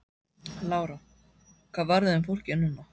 Lára: Hvað verður um fólkið núna?